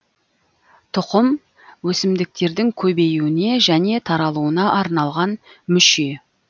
тұқым өсімдіктердің көбеюіне және таралуына арналған мүше